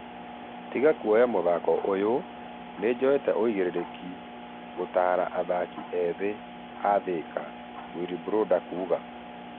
"Tiga kũoya mũthako ũyo , nĩjoyete ũigĩrĩrĩki gũtara athaki ethĩ a Thika" wilbroda akiuga